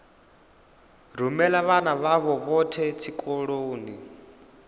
rumela vhana vhavho vhothe tshikoloni